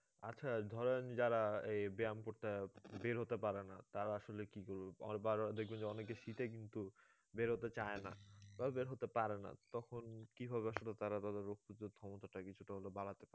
আচ্ছা ধরেন যারা এই ব্যাম করতে বেরোতে পারে না তারা আসলে কি করবে দেখবেন যে অনেকে শীতে কিন্তু বেরোতে চায়ে না বা বের হতে পারে না তখন কি ভাবে শ্রোতারা ধরো রোগ প্রতিরোধ ক্ষমতাটা কিছুটা হলেও বাড়াতে